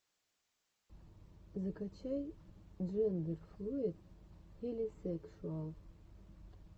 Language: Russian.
закачай джендерфлуид хелисекшуал